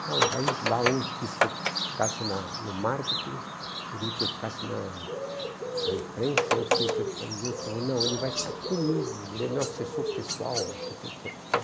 A aí lá um quis que eu ficasse na no marketing, um queria que eu ficasse na na imprensa, outro queria que eu ficasse... Ele falou, não, ele vai ficar comigo, ele é meu assessor pessoal, não sei o quê